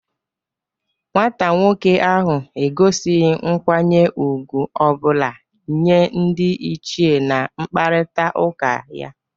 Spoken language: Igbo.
Nwata nwoke ahụ egosighi nkwanye ugwu ọ bụla nye ndị ichie na nkparịta ụka ya.